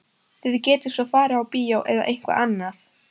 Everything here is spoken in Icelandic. Þið getið svo farið á bíó eða eitthvað annað.